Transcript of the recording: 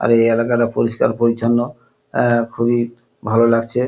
আর এই এলাকাটা পরিষ্কার পরিছন্ন অ্যা অ্যা খুবই ভালো লাগছে।